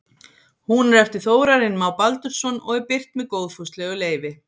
Hún er eftir Þórarinn Má Baldursson og er birt með góðfúslegu leyfi.